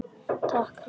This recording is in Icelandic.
Takk Heimir.